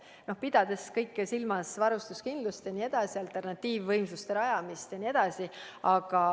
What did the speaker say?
Tuleb muidugi silmas pidada kõike: varustuskindlust, alternatiivvõimsuste rajamist ja nii edasi.